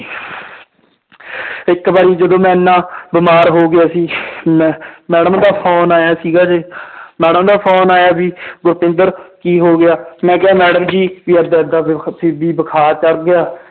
ਇੱਕ ਵਾਰੀ ਜਦੋਂ ਮੈਂ ਇੰਨਾ ਬਿਮਾਰ ਹੋ ਗਿਆ ਸੀ ਮੈਂ madam ਦਾ phone ਆਇਆ ਸੀਗਾ ਜੇ madam ਦਾ phone ਆਇਆ ਵੀ ਗੁਰਤਿੰਦਰ ਕੀ ਹੋ ਗਿਆ ਮੈਂ ਕਿਹਾ madam ਜੀ ਵੀ ਏਦਾਂ ਏਦਾਂ ਵੀ ਬੁਖ਼ਾਰ ਚੜ ਗਿਆ